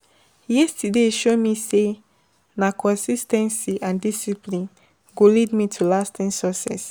Yesterday show me say, na consis ten cy and discipline go lead to lasting success.